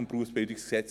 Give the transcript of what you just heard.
des BerG.